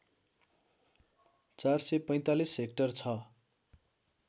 ४४५ hectare छ